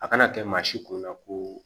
A kana kɛ maa si kunna ko